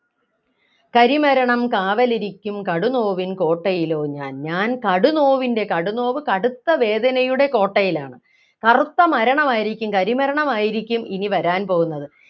കരിമരണം കാവലിരിക്കും കടുനോവിൻ കോട്ടയിലോ ഞാൻ ഞാൻ കടുനോവിൻ്റെ കടുനോവ് കടുത്ത വേദനയുടെ കോട്ടയിലാണ് കറുത്ത മരണമായിരിക്കും കരി മരണമായിരിക്കും ഇനി വരാൻ പോകുന്നത്